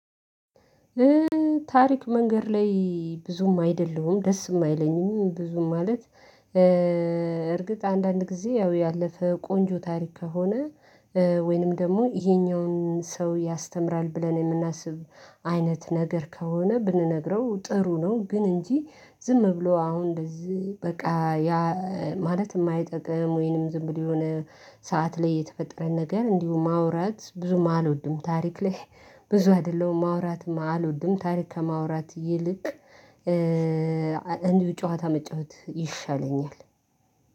ታሪክ መንገድ ላይ ብዙም አይደለሁም ደስም አይለኝም ብዙም ማለት። አንዳንድ ጊዜ ያው ያለፈ ቆንጆ ታሪክ ከሆነ ወይንም ደግሞ ይሄኛውን ሰው ያስተምራል ብለን የምናስብ አይነት ነገር ከሆነ ብንነግረው ጥሩ ነው። ግን እንጂ ዝም ብሎ አሁን እንደዚህ በቃ ያ ማለት የማይጠቅም ወይንም ዝም ብሎ የሆነ ሰዓት ላይ የተፈጠረ ነገር እንዲሁ ማውራት ብዙም አልወድም። ታሪክ ላይ ብዙ አይደለሁም ማውራትም አልወድም። ታሪክ ከማውራት ይልቅ እንዲህ ጨዋታ መጫወት ይሻለኛል።